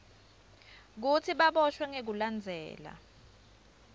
kutsi baboshwe ngekulandzela